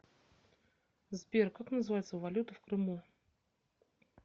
сбер как называется валюта в крыму